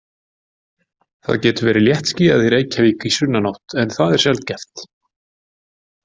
Það getur verið léttskýjað í Reykjavík í sunnanátt en það er sjaldgæft.